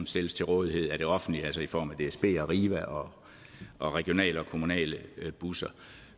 stilles til rådighed af det offentlige altså i form af dsb arriva og og regionale og kommunale busser